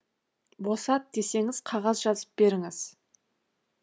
босат десеңіз қағаз жазып беріңіз